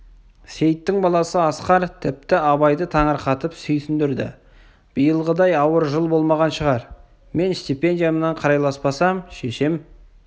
сейіттің баласы асқар тіпті абайды таңырқатып сүйсіндірді биылғыдай ауыр жыл болмаған шығар мен стипендиямнан қарайласпасам шешем